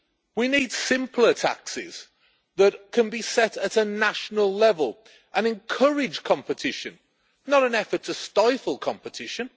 We need simpler taxes that can be set at a national level and encourage competition, not an effort to stifle competition.